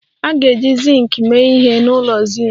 A ga-eji zinc mee ihe n'ụlọ zinc